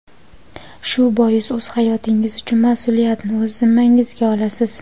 Shu bois o‘z hayotingiz uchun mas’uliyatni o‘z zimmangizga olasiz.